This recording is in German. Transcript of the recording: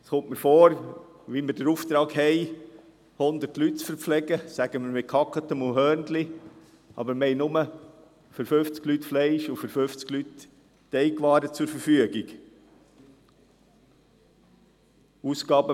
Es kommt mir vor, als hätten wir den Auftrag, 100 Leute mit Gehacktem und Hörnli zu verpflegen, aber nur für 50 Leute Fleisch und für 50 Leute Teigwaren zur Verfügung haben.